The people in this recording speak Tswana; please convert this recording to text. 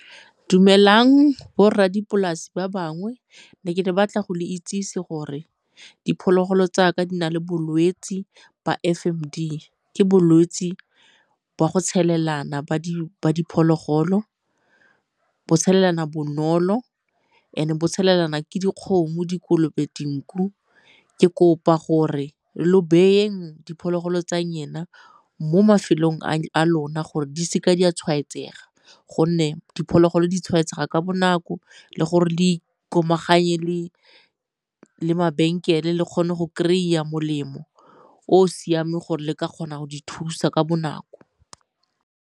Dumelang borra dipolasi ba bangwe, ne ke batla go le itsesi gore diphologolo tsa ka di na le bolwetse ba F_ M_D. Ke bolwetse ba go tshelelana ba di diphologolo. Bo tshelelana bonolo, and-e bo tshelelana ke dikgomo, dikolobe, dinku. Ke kopa gore lo beyeng diphologolo tsa lena mo mafelong a lona gore di seke di a tshwaetsega gonne diphologolo di tshwaetsega ka bonako le gore le ikomaganye le mabenkele le kgone go kry-a molemo o o siameng gore le ka kgona go di thusa ka bonako.